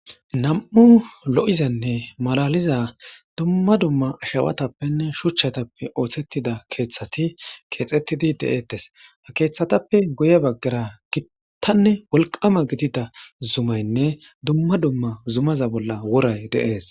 nam7u lo7izanne malaliza dumma dumma ashawatappenne shuchchatappe oothettida keeththati keexettidi de7ettes ha keeththatappe goye baggara gittanne wolqama gidida zumaynne dumma dumma zumaza bolla woray deees